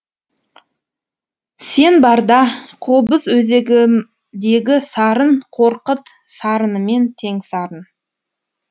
сен барда қобыз өзегімдегі сарын қорқыт сарынымен тең сарын